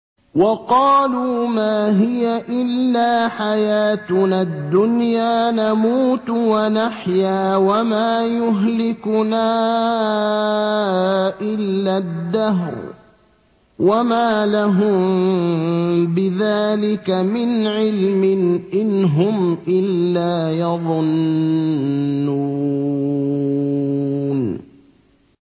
وَقَالُوا مَا هِيَ إِلَّا حَيَاتُنَا الدُّنْيَا نَمُوتُ وَنَحْيَا وَمَا يُهْلِكُنَا إِلَّا الدَّهْرُ ۚ وَمَا لَهُم بِذَٰلِكَ مِنْ عِلْمٍ ۖ إِنْ هُمْ إِلَّا يَظُنُّونَ